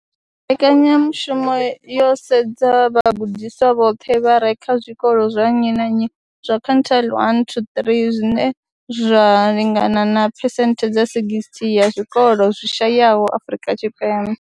Mbekanyamushumo yo sedza vhagudiswa vhoṱhe vha re kha zwikolo zwa nnyi na nnyi zwa quintile 1 to 3, zwine zwa lingana na phesenthe dza 60 ya zwikolo zwi shayaho Afrika Tshipembe.